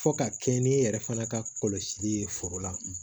Fo ka kɛɲɛ ni e yɛrɛ fana ka kɔlɔsili ye foro la